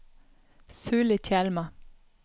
Sulitjelma